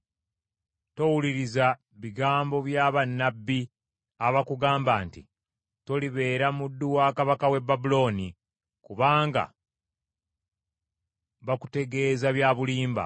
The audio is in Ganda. Towuliriza bigambo bya bannabbi abakugamba nti, ‘Tolibeera muddu wa kabaka w’e Babulooni,’ kubanga bakutegeeza bya bulimba.